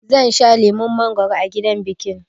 Zan sha lemon mangwaro a gidan bikin